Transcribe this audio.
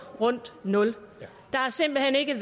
rundt nul der har simpelt hen ikke